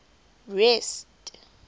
rest